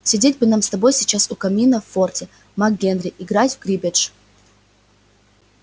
сидеть бы нам с тобой сейчас у камина в форте мак гэрри играть в криббедж